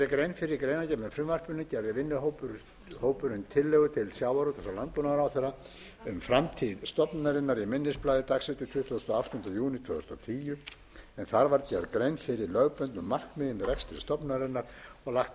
með frumvarpinu gerði vinnuhópurinn tillögu til sjávarútvegs og landbúnaðarráðherra um framtíð stofnunarinnar í minnisblaði dagsett tuttugasta og áttunda júní tvö þúsund og tíu en þar var gerð grein fyrir lögbundnu markmiði með rekstri stofnunarinnar og lagt